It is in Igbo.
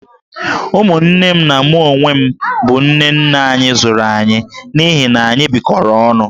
Ụmụnne m na mụ onwe m bụ nne nne anyị zụrụ anyị, n'ihi na anyị bịkọrọ onụ